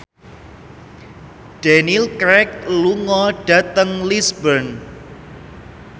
Daniel Craig lunga dhateng Lisburn